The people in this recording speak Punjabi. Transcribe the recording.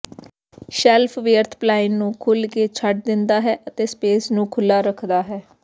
ਸ਼ੈਲਫ ਵਿਅਰਥ ਪਲਾਇਣ ਨੂੰ ਖੁੱਲ੍ਹ ਕੇ ਛੱਡ ਦਿੰਦਾ ਹੈ ਅਤੇ ਸਪੇਸ ਨੂੰ ਖੁੱਲ੍ਹਾ ਰੱਖਦਾ ਹੈ